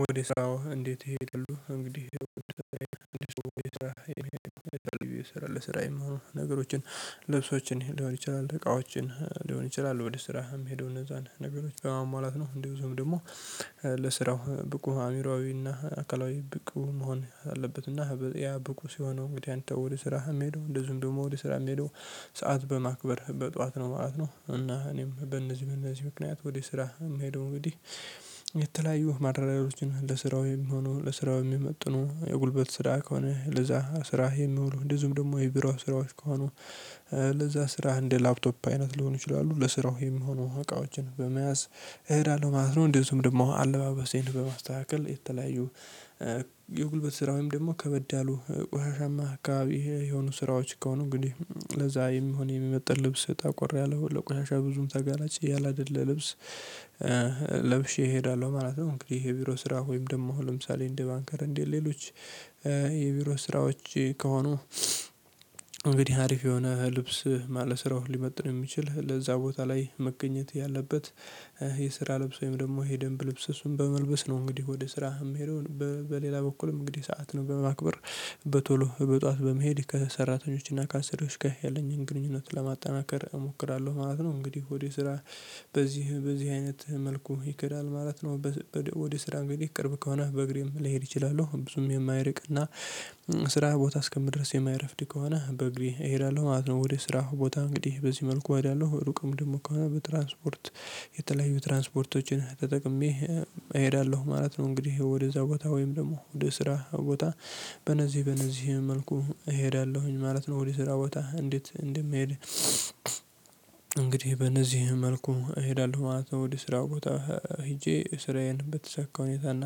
ወደ ስራዎ እንዴት ይሄ ይላሉ እንግዲህ? ለስራ የምሆነው ነገሮችን ልብሶችን ሊሆን ይችላል እቃዎችን ሊሆን ይችላል ወደ ስራ የሚሄደው እነዛን ነገሮች በማሟላት ነው። እንደውም ደግሞ ለስራው ብቁ አዕምሮዊና አካላዊ ብቁ መሆን አለበትና ያ ብቁ ሲሆነው እንግዲህ አንተ ወደ ስራህ የምሄደው እንደ ዝም ደግሞ ወደ ስራ የምሄደው ሰዓት በማክበር በጧት ነው ማለት ነው። እና እኔም በእነዚህ በእነዚህ ምክንያት ወደ ስራ የምሄደው እንግዲህ የተለያዩ ማድረግ ላይ ልጅ ነው ለስራው የሚሆነው ለስራው የሚመጥነው የጉልበት ስራ ከሆነ ለዛ ስራህ የሚውሉ እንደ ዝም ደግሞ የብራው ስራዎች ከሆኑ ለዛ ስራህ እንደ ላፕቶፕ አይነት ሊሆኑ ይችላሉ ለስራው የሚሆኑ እቃዎችን በመያዝ እሄዳለሁ ማለት ነው። እንዲሁ ደግሞ አለባበሴን በማስተካከል የተለያዩ የጉልበት ስራ ወይም ደግሞ ከበደ አሉ ቆሻሻማ አካባቢ የሆኑ ስራዎች ከሆኑ እንግዲህ ለዛ የሚሆን የሚመጥን ልብስ ጠቆር ያለ ቆርያለሁ ለቆሻሻ ብዙም ተጋናጭ ያላደለ ልብስ ለብሼ እሄዳለሁ ማለት ነው። እንግዲህ የቢሮ ስራ ወይም ደግሞ ለምሳሌ እንደ ባንከር እንዴት ሌሎች የቢሮ ስራዎች ከሆኑ። እንግዲህ አሪፍ የሆነ ልብስ ማለ ስራውን ሊመጥን የሚችል ለዛ ቦታ ላይ መገኘት ያለበት የስራ ልብስ ወይም ደግሞ ይሄ ደንብ ልብስ እሱን በመልበስ ነው። እንግዲህ ወደ ስራ የምሄደውን በሌላ በኩልም እንግዲህ ሰዓት ነው በማክበር በቶሎ በጧት በመሄድ ከሰራተኞች እና ከአሰሪዎች ጋር ያለኝን ግንኙነት ለማጠናከር እሞክራለሁ ማለት ነው። እንግዲህ ወደ ስራ በዚህ በዚህ አይነት መልኩ ይክዳል ማለት ነው። ወደ ስራ እንግዲህ ቅርብ ከሆነ በእግሬም ልሄድ እችላለሁ ብዙም የማይርቅ እና ስራ ቦታ እስከምድረስ የማይረፍድ ከሆነ በእግሪ እሄዳለሁ ማለት ነው። ወደ ስራው ቦታ እንግዲህ በዚህ መልኩ አይደለሁ ሩቅም ደግሞ ከሆነ በትራንስፖርት የተለያዩ ትራንስፖርቶችን ተጠቅሜ እሄዳለሁ ማለት ነው። እንግዲህ ወደዛ ቦታ ወይም ደግሞ ወደ ስራ ቦታ በነዚህ በነዚህ መልኩ እሄዳለሁኝ ማለት ነው። ወደ ስራ ቦታ እንዴት እንደምሄድ እንግዲህ በነዚህ መልኩ እሄዳለሁ ማለት ነው። ወደ ስራ ቦታ ሄጄ ስራዬን ብትሰካ ሁኔታና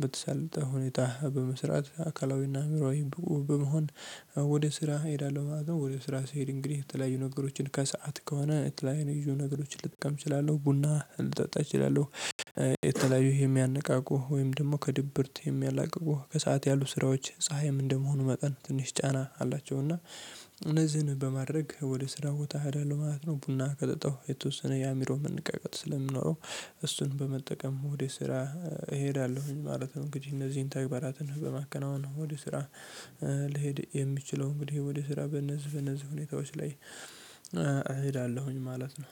ብትሰልጥ ሁኔታ በመስራት አካላዊና አምሮአዊ በመሆን ወደ ስራ እሄዳለሁ ማለት ነው። ወደ ስራ ስሄድ እንግዲህ የተለያዩ ነገሮችን ከሰአት ከሆነ የተለያዩ ነገሮችን ልጠቀም እችላለሁ ቡና ልጠጣ እችላለሁ። የተለያዩ የሚያነቃቁ ወይም ደግሞ ከድብርት የሚያላቅቁ ከሰአት ያሉ ስራዎች ፀሀይም እንደመሆኑ መጠን ትንሽ ጫና አላቸው እና እነዚህን በማድረግ ወደ ስራ ቦታ አይደለም ማለት ነው። ቡና ቀጥጠው የተወሰነ ያሚሮ መንቀቀት ስለምኖረው እሱን በመጠቀም ወደ ስራ እሄዳለሁኝ ማለት ነው። እንግዲህ እነዚህን ተግባራትን በማከናወን ነው ወደ ስራ ልሄድ የሚችለው እንግዲህ ወደ ስራ በእነዚህ በእነዚህ ሁኔታዎች ላይ እሄዳለሁኝ ማለት ነው።